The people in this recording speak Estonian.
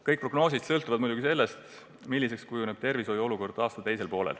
Kõik prognoosid sõltuvad muidugi sellest, milliseks kujuneb tervishoiu olukord aasta teisel poolel.